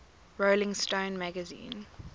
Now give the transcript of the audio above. rolling stone magazine